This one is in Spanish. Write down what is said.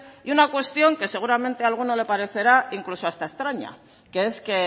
y una cuestión que seguramente a alguno le parecerá incluso hasta extraña que es que